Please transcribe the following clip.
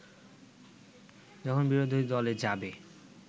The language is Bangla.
যখন বিরোধীদলে যাবে